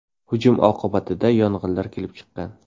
Hujum oqibatida yong‘inlar kelib chiqqan.